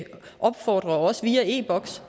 opfordre folk også via e boks